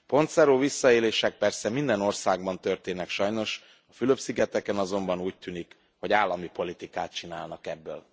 Pontszerű visszaélések persze minden országban történnek sajnos, a Fülöp szigeteken azonban, úgy tűnik, hogy állami politikát csinálnak ebből.